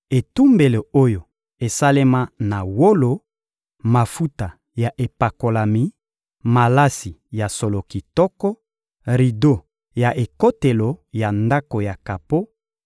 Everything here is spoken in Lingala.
etumbelo oyo esalema na wolo, mafuta ya epakolami, malasi ya solo kitoko, rido ya ekotelo ya ndako ya kapo,